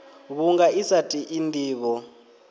vhunga i sa tei ndivho